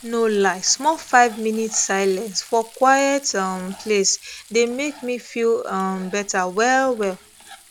no lie small five minutes silence for quiet um place dey make me feel um better well well